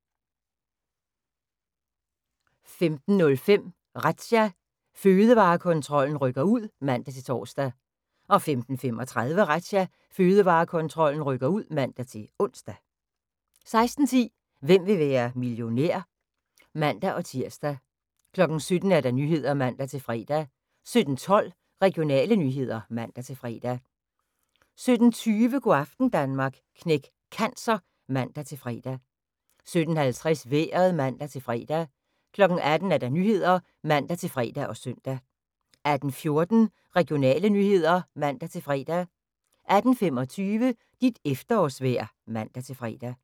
15:05: Razzia – Fødevarekontrollen rykker ud (man-tor) 15:35: Razzia – Fødevarekontrollen rykker ud (man-ons) 16:10: Hvem vil være millionær? (man-tir) 17:00: Nyhederne (man-fre) 17:12: Regionale nyheder (man-fre) 17:20: Go' aften Danmark – Knæk Cancer (man-fre) 17:50: Vejret (man-fre) 18:00: Nyhederne (man-fre og søn) 18:14: Regionale nyheder (man-fre) 18:25: Dit efterårsvejr (man-fre)